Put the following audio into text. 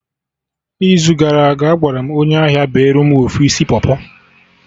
n'izu gara aga, Agwaram onye ahia bere mụ ofu isi pọpọ